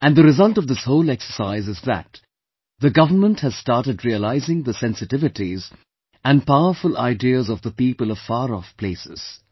And, the result of this whole exercise is that the government has started realizing the sensitivities and powerful ideas of the people of far off places